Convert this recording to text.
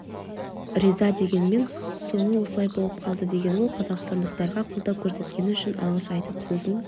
риза дегенмен соңы осылай болып қалды деген ол қазақстандықтарға қолдау көрсеткені үшін алғыс айтып сөзін